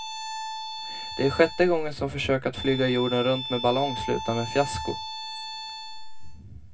Det är sjätte gången som försök att flyga jorden runt med ballong slutar med fiasko.